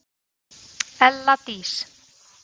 ELLA DÍS